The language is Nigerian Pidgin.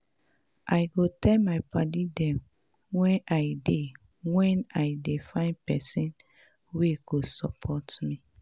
I go tell my padi dem wen I dem wen I dey find pesin wey go support me.